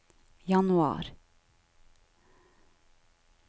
januar